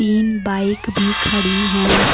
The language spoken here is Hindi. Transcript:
तीन बाइक भी खड़ी हैं।